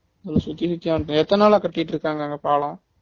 சுத்தி கித்தி வண்ட்டேன் எத்தன நாளா கட்டிட்டு இருகாங்க அங்க பாலம்